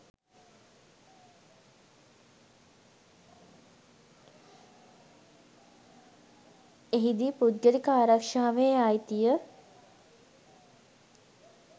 එහිදී පුද්ගලික ආරක්‍ෂාවේ අයිතිය